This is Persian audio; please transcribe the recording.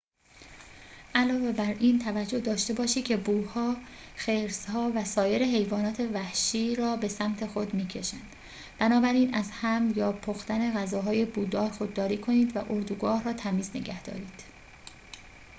علاوه بر این توجه داشته باشید که بوها خرس‌ها و سایر حیوانات وحشی را به سمت خود می‌کشند بنابراین از حمل یا پختن غذاهای بودار خودداری کنید و اردوگاه را تمیز نگهدارید